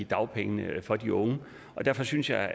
dagpengene for de unge og derfor synes jeg